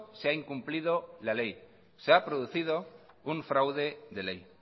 se ha incumplido la ley se ha producido un fraude de ley